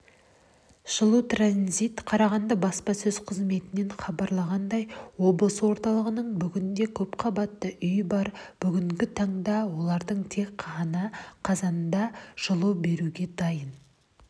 жылутранзит қарағанды баспасөз қызметінен хабарлағандай облыс орталығында бүгінде көпқабатты үй бар бүгінгі таңда олардың тек ғана қазанда жылу беруге дайын